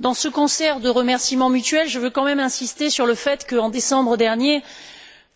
Dans ce concert de remerciements mutuels, je veux quand même insister sur le fait qu'en décembre dernier,